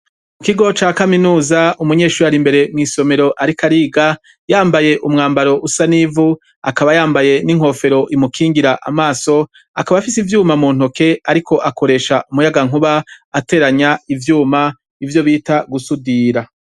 Mu kigo ca kaminuza umunyeshuri ari imbere mwisomero ariko ariga yambaye umwambaro usa n'ivu akaba yambaye n'inkofero imukingira amaso akaba afise ivyuma mu ntoke ariko akoresha umuyaga nkuba ateranya ivyuma ivyo bita gusudira.